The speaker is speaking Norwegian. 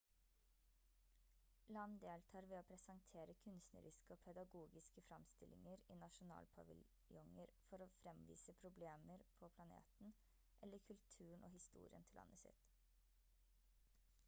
land deltar ved å presentere kunstneriske og pedagogiske fremstillinger i nasjonalpaviljonger for å fremvise problemer på planeten eller kulturen og historien til landet sitt